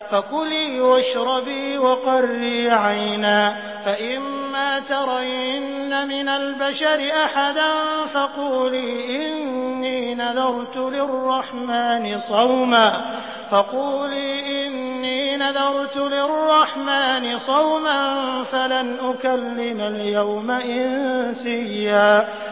فَكُلِي وَاشْرَبِي وَقَرِّي عَيْنًا ۖ فَإِمَّا تَرَيِنَّ مِنَ الْبَشَرِ أَحَدًا فَقُولِي إِنِّي نَذَرْتُ لِلرَّحْمَٰنِ صَوْمًا فَلَنْ أُكَلِّمَ الْيَوْمَ إِنسِيًّا